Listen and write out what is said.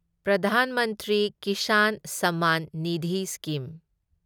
Pradhan Mantri Kisan Samman Nidhi scheme